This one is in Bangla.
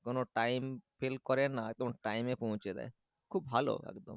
কোনো টাইম ফেল করে না একদম টাইমে পৌঁছে দেয় খুব ভালো একদম